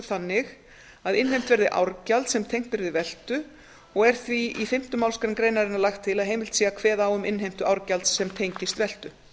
þannig að innheimt verði árgjald sem tengt er við veltu og er því í fimmta málsgrein greinarinnar lagt til að heimilt sé að kveða á um innheimtu árgjalds sem tengist veltu